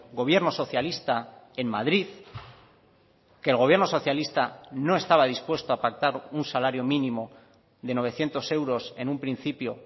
gobierno socialista en madrid que el gobierno socialista no estaba dispuesto a pactar un salario mínimo de novecientos euros en un principio